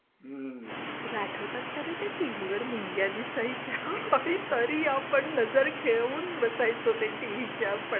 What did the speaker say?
तुला आठवतात का रे त्या टीव्हीवर मुंग्या दिसायच्या तरी आपण नजर ठेवून बसायचं त्या टीव्हीच्या पडद्याकडे.